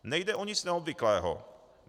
Nejde o nic neobvyklého.